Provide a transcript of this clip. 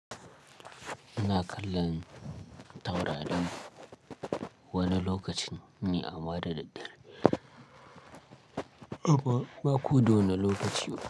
Ina kallon taurari wani lokacin ne amma da daddare. Ba ko da wane lokaci ba.